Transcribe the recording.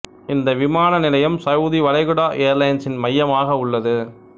இந்த விமான நிலையம் சவுதி வளைகுடா ஏர்லைன்ஸின் மையமாக உள்ளது